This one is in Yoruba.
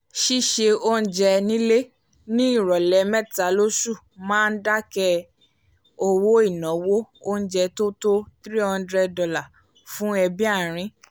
ṣíṣe oúnjẹ nílé ní ìròlẹ̀ mẹ́ta lósù máa ń dákẹ́ owó ináwó oúnjẹ tó tó three hundred dollars fún ẹbí arin